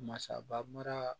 Masaba mara